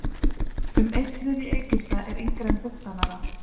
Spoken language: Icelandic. Um einn þriðji Egypta er yngri en fimmtán ára.